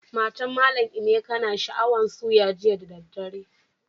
Matan mallam Emeka na sha'awan suya jiya da dare.